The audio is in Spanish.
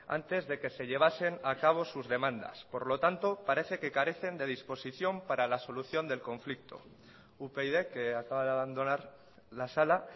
antes de que se llevasen a cabo sus demandas por lo tanto parece que carecen de disposición para la solución del conflicto upyd que acaba de abandonar la sala